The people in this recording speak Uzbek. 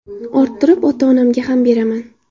Orttirib, ota-onamga ham beraman.